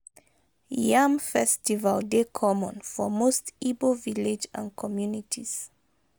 Yam festival dey common for most igbo village and communities